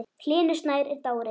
Hlynur Snær er dáinn.